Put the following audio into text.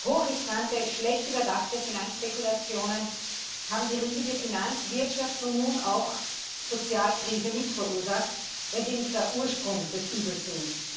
Hochriskante, schlecht durchdachte Finanzspekulationen haben die riesige Finanz Wirtschafts und nun auch Sozialkrise mit verursacht, wenn sie nicht gar Ursprung des Übels sind.